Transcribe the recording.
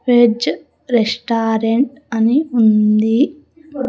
Veg restaurant అని ఉంది.